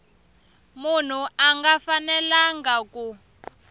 munhu a nga fanelanga ku